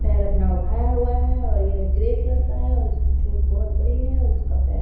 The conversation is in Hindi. पैर अपना उठाया हुआ है और यह ग्रे कलर का है और इसकी चोंच बहुत बड़ी है और इसका पैर --